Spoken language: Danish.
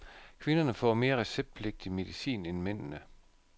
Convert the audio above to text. Kvinderne får mere receptpligtig medicin end mændene.